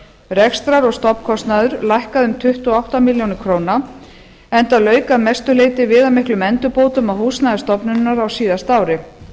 rekstrar og stofnkostnaður lækkaði um tuttugu og átta milljónir króna enda lauk að mestu leyti viðamiklum endurbótum á húsnæði stofnunarinnar á síðasta ári